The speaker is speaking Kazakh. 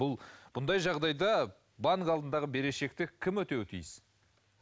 бұл бұндай жағдайда банк алдындағы берешекті кім өтеуі тиіс